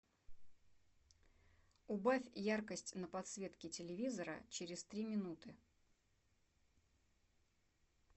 убавь яркость на подсветке телевизора через три минуты